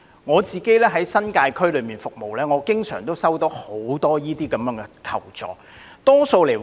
我在新界區服務，經常接獲眾多類似的求助要求。